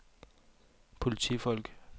politifolk